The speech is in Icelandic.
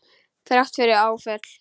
Þrátt fyrir áföll.